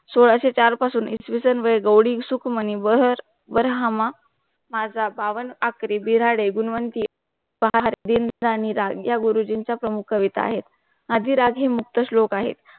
सोळाशे चार पासून इसवी सन वै गौडी सुख मंहिवर वर ह्मा माजा बावन आखरे बिरारे गुणवंती पहार दिन आणि राग या गुरुजींच्या प्रमुख वेता आहेत. आदिराग हा मुख्य शलोक आहे